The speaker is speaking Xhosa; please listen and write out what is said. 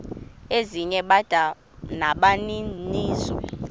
ezinye bada nabaninizo